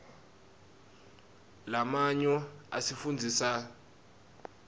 lamanyo asifundzisa rdatsitg